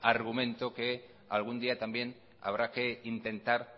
argumento que algún día también habrá que intentar